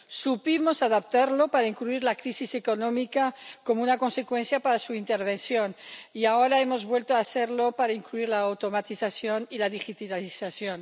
Supimos adaptarlo para incluir la crisis económica, como una consecuencia para su intervención, y ahora hemos vuelto a hacerlo para incluir la automatización y la digitalización.